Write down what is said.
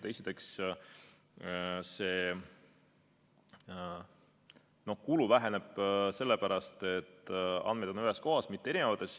Esiteks, kulu väheneb sellepärast, et andmed on ühes kohas, mitte erinevates.